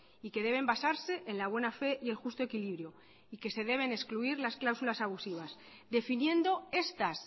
y que deben basarse en la buena fe y el justo equilibrio y que se deben excluir las cláusulas abusivas definiendo estas